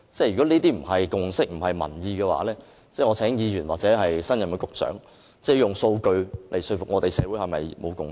如果這些不是共識、不是民意的話，我請議員或新任局長以數據來說服我們，社會是否仍未有共識？